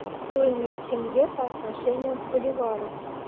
стоимость тенге по отношению к боливару